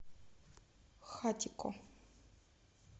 хатико